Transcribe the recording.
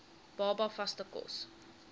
baba vaste kos